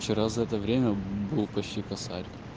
вчера за это время был почти косарь